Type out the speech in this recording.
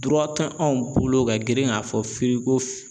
tɛ anw bolo ka girin k'a fɔ firigo fi